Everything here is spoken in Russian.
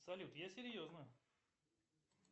салют я серьезно